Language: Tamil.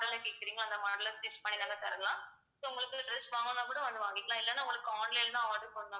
model ல கேட்கறீங்களோ அந்த model அ stitch பண்ணி நாங்க தரலாம் so உங்களுக்கு dress வாங்கணும்னா கூட வந்து வாங்கிக்கலாம் இல்லைன்னா உங்களுக்கு online தான் order பண்ணணும்னா